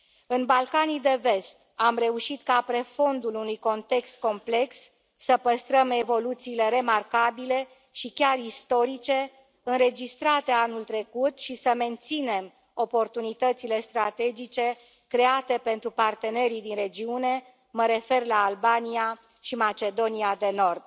În Balcanii de Vest, am reușit ca pe fondul unui context complex, să păstrăm evoluțiile remarcabile, și chiar istorice, înregistrate anul trecut, și să menținem oportunitățile strategice create pentru partenerii din regiune, mă refer la Albania și Macedonia de Nord.